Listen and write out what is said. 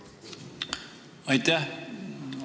Aitäh!